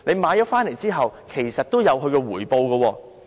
回購後其實也會有回報。